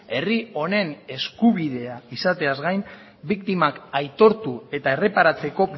herri honen eskubidea izateaz gain biktimak aitortu eta erreparatzeko